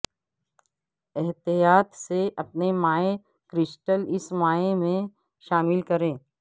احتیاط سے اپنے مائع کرسٹل اس مائع میں شامل کریں